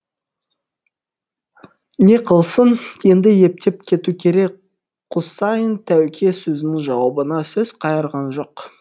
не қылсын енді ептеп кету керек құсайын тәуке сөзінің жауабына сөз қайырған жоқ